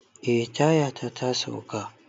Eh, tayata ta sauka.